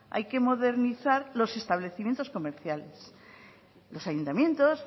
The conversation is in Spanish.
hay que modernizar los establecimientos comerciales los ayuntamientos